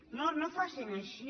no no facin així